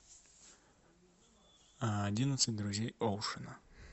одиннадцать друзей оушена